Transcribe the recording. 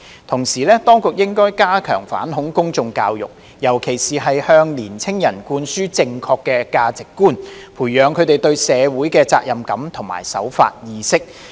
同時，當局應加強反恐公眾教育，尤其是向年青人灌輸正確價值觀，培養他們對社會的責任感及守法意識。